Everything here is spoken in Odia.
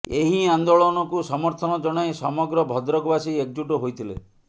ଏହି ଆନ୍ଦୋଳନକୁ ସମର୍ଥନ ଜଣାଇ ସମଗ୍ର ଭଦ୍ରକ ବାସୀ ଏକଜୁଟ ହୋଇଥିଲେ